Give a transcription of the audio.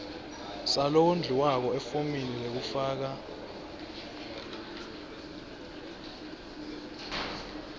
salowondliwako efomini lekufaka